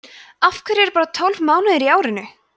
af hverju eru bara tólf mánuðir í árinu